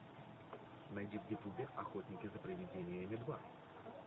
найди в ютубе охотники за привидениями два